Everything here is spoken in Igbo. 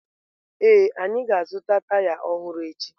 Ee, anyị ga-azụta taya ọhụrụ echi